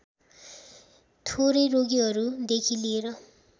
थोरै रोगीहरूदेखि लिएर